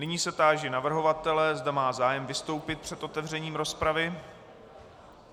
Nyní se táži navrhovatele, zda má zájem vystoupit před otevřením rozpravy.